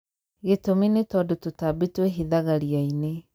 Gĩtũmi nĩ tondũ tũtambi twĩhithaga ria-inĩ.